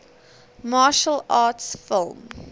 martial arts film